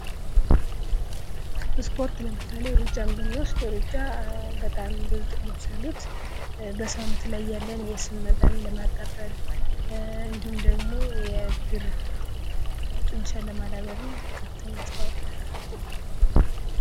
ስፖርት ለምሳሌ እሩጫን ብንወስድ እሩጫ በጣም ብዙ ጥቅሞች አሉት። በሰውነት ላይ ያለ የስብ መጠንን ለማቃጠል እንዲሁም ደግሞ የእግር ጡንቻን ለማዳበር ከፍተኛ አስተዋፅኦ አለው።